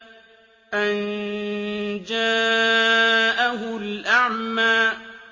أَن جَاءَهُ الْأَعْمَىٰ